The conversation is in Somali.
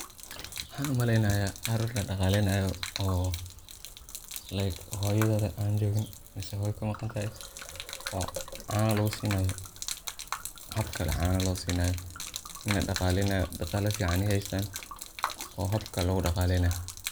waxan umaleynaya ari ladhaqaleynayo oo like hooyadeda an joogin mise hooyo kamaqantahay oo caano lugu sinaayo, habkale caano loo sinayo, lana dhaqaleynayo, dhaqala fican ay haystaan oo habka lugu dhaqaleynayo